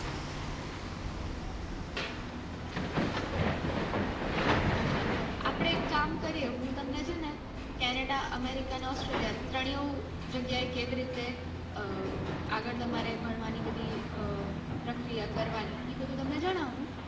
હમ અચ્છા તો આપડે એક કામ કરીયે હું તમને છે ને canada america ને australia ત્રણેય જગ્યાએ હું કેવી રીતે આગળ તમારે ભણવાની બધી પ્રક્રિયા કરવાની એ બંધુ તમને છેને હું